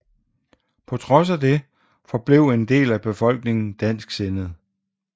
På trods af det forblev en del af befolkningen dansksindet